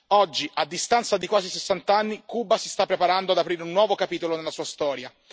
Oggi, a distanza di quasi 60 anni, Cuba si sta preparando ad aprire un nuovo capitolo nella sua storia.